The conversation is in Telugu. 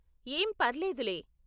ఏం పర్లేదు లే.